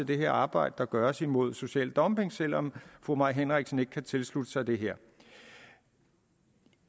det her arbejde der gøres mod social dumping selv om fru mai henriksen ikke kan tilslutte sig det her